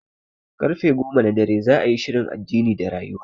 Karfe goma na dare za'a yi shirin addini da rayuwa